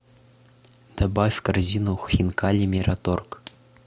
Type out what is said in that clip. добавь в корзину хинкали мираторг